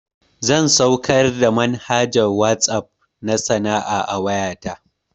Zan saukar da manhajar WhatsApp na sana'a a wayata